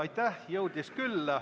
Jah, jõudis küll.